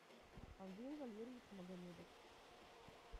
андрей валерьевич магомедов